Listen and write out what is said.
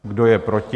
Kdo je proti?